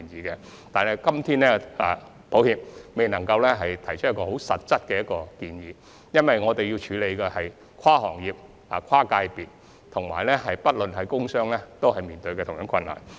然而，很抱歉，我們今天尚未能提出實質的建議，因為我們目前要處理的是跨行業、跨界別的問題，而工商界均面對相同的困難。